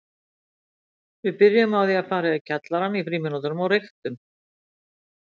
Við byrjuðum á því að fara í kjallarann í frímínútum og reyktum.